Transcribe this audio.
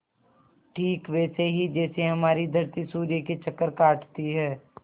ठीक वैसे ही जैसे हमारी धरती सूर्य के चक्कर काटती है